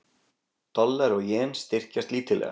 Dollari og jen styrkjast lítillega